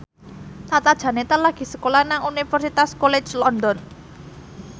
Tata Janeta lagi sekolah nang Universitas College London